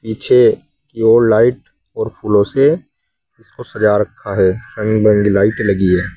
पीछे की ओर लाइट और फूलों से इसको सजा रखा हैं रंग बिरंगी लाइट लगी है।